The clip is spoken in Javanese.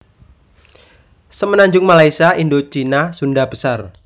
Semenanjung Malaysia Indocina Sunda besar